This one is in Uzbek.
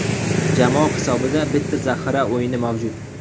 Jamoa hisobida bitta zaxira o‘yini mavjud.